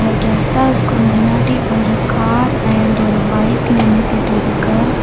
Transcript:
இந்த கெஸ்ட் ஹவ்ஸ்க்கு முன்னாடி ஒரு கார் அண்ட் ஒரு பைக் நின்னுக்கிட்டு இருக்கு.